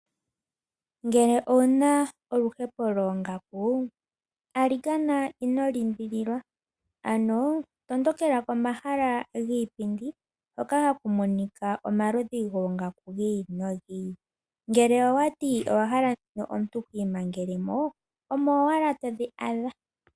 Ngele owuna oluhepo loongaku, alikana ino limbililwa, ano tondokela komahala giipindi hoka haku monika omaludhi goongaku gi ili nogi ili. Ngele owati owa hala dhino omuntu ti imangelemo, omo wala todhi adha.